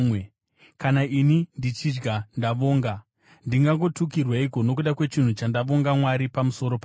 Kana ini ndichidya ndavonga, ndingagotukirweiko nokuda kwechinhu chandavonga Mwari pamusoro pacho?